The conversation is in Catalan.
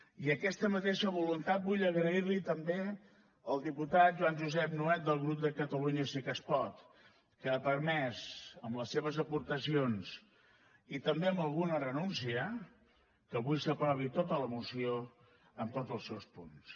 i aquesta mateixa voluntat vull agrair la hi també al diputat joan josep nuet del grup de catalunya sí que es pot que ha permès amb les seves aportacions i també amb alguna renúncia que avui s’aprovi tota la moció en tots els seus punts